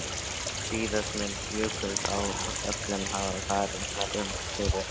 Síðast mun Jökulsá á Fjöllum hafa farið þar um fyrir